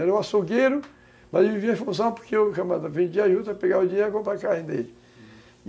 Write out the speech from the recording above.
Era o açougueiro, mas vivia em função porque o camarada vendia juta para pegar o dinheiro e comprar carne dele.